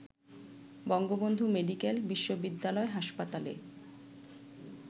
Bangabandhu medical বিশ্ববিদ্যালয় হাসপাতালে